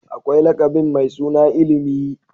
Akwai mai lakabin Mai ilimi.